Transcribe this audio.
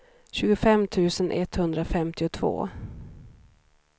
tjugofem tusen etthundrafemtiotvå